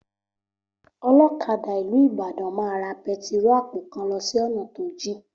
Olókadà ìlú Ìbàdàn máa ra pẹtiro àpò kan lọ sí ònà tó jìn